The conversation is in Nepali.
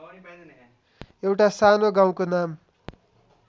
एउटा सानो गाउँको नाम